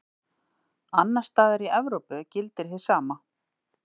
Annars staðar í Evrópu gildir hið sama.